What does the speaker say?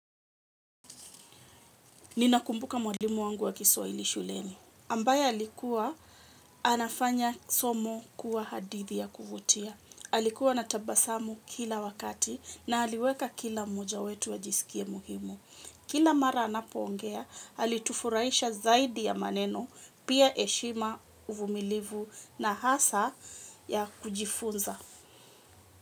Ninakumbuka mwalimu wangu wa kiswaili shuleni. Ambaye alikuwa, anafanya somo kuwa hadithi ya kuvutia. Alikuwa anatabasamu kila wakati na aliweka kila moja wetu ajisikie muhimu. Kila mara anapongea, halitufuraisha zaidi ya maneno, pia eshima uvumilivu na hasa ya kujifunza.